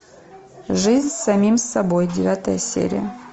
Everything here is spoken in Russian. жизнь с самим собой девятая серия